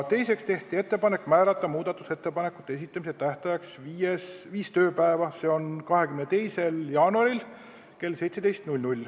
Teiseks tehti ettepanek määrata muudatusettepanekute esitamise tähtajaks viis tööpäeva, s.o 22. jaanuar kell 17.